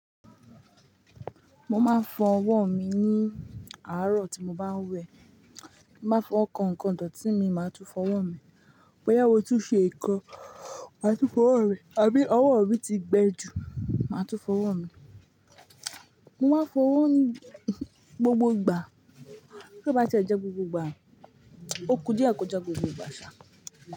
Mo máa ń fọ ọwọ́ mi ní àárọ̀ tí mo bá ń wẹ̀. Má fọ kankan, dòtí mi. Máa tún fọ ọwọ́ mi. Boyá mo tún ṣe nkan, máa tún fọ ọwọ́ mi, àbí ọwọ́ mi ti gbẹ ju, máa tún fọ ọwọ́ mi. Mo má ń fọ ọwọ́ ní gbogbo ìgbà. Tí ó bá ti e jẹ gbogbo ìgbà, o ku díẹ̀ kọ jẹ gbogbo ìgbà ṣa.